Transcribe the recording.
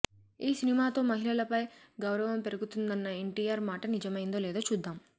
ఈ సినిమాతో మహిళలపై గౌరవం పెరుగుతుందన్న ఎన్టీఆర్ మాట నిజమైందో లేదో చూద్దాం